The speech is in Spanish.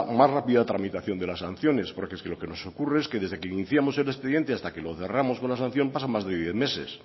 más rápida tramitación de las sanciones porque es que lo que nos ocurre es que desde que iniciamos el expediente hasta que lo cerramos con la sanción pasan más de diez meses